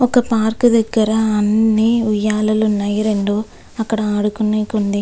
ఒక పార్క్ దగ్గర ఉయ్యాలలు ఉన్నాయ్ రెండు అండ్ అక్కడ ఆడుకునేకి ఉంది.